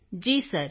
Kritika ji sir